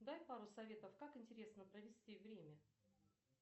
дай пару советов как интересно провести время